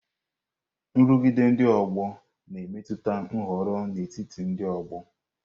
Nrụgide ndị ọgbọ na-emetụta nhọrọ n'etiti ndị ọgbọ.